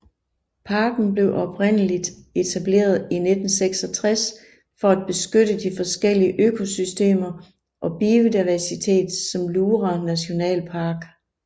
Parken blev oprindeligt etableret i 1966 for at beskytte de forskellige økosystemer og biodiversitet som Lura Nationalpark